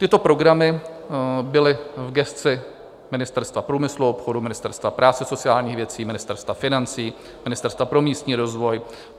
Tyto programy byly v gesci Ministerstva průmyslu a obchodu, Ministerstva práce a sociálních věcí, Ministerstva financí, Ministerstva pro místní rozvoj.